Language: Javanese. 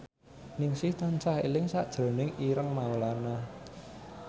Ningsih tansah eling sakjroning Ireng Maulana